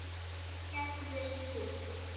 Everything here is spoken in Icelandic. Hvað gerðir þú?